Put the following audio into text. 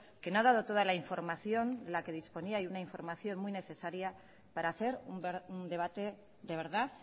que no ha dado toda la información de la que disponía una información muy necesaria para hacer un debate de verdad